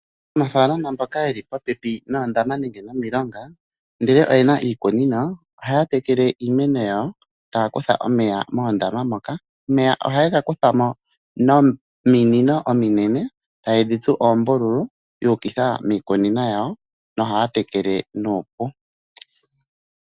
Aanafalama mboka yeli popepi noondama nenge nomilonga ndele oyena iikunino, ohaya tekele iimeno yawo taya kutha omeya moondama moka. Omeya ohaye gakutha mo nominino ominene tayedhi tsu oombululu yu ukitha miikunimo yawo nohaya tekele nuupu.